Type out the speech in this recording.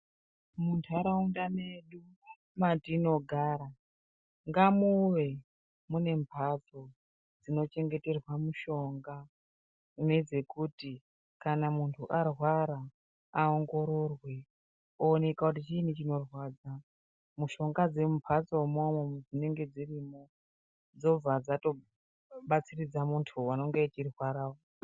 Munharaunda medu matinogara ngamuve mune mhatso dzinochengeterwa mushonga nedzekuti kana munhu arwara aongororwe oneka kuti chiinyi chinorwadza mushonga dzemumhatsomwo dzinonga dzirimo dzobva dzatobatiridza munhu unonga eirwara uyu.